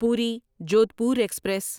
پوری جودھپور ایکسپریس